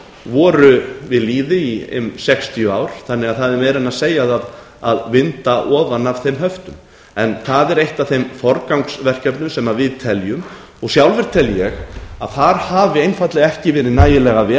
voru við lýði í ein sextíu ár þannig að það er meira en segja það að vinda ofan af þeim höftum en það er eitt af þeim forgangsverkefnum sem við teljum og sjálfur tel ég að þar hafi einfaldlega ekki verið nægilega vel